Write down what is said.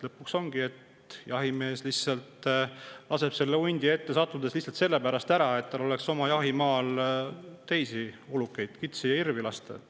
Lõpuks ongi nii, et kui hunt ette satub, laseb jahimees selle maha lihtsalt sellepärast, et tal oleks oma jahimaal teisi ulukeid, kitsi ja hirvi.